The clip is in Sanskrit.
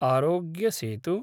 आरोग्य सेतु